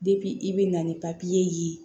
i bi na ni ye